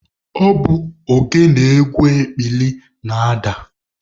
Ọ bụ ogene egwu ekpili na-ada.